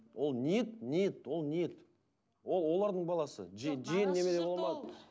ол ниет ниет ол ниет ол олардың баласы